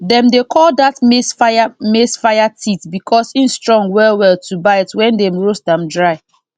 dem dey call dat maize fire maize fire teeth because e strong wellwell to bite when dem roast am dry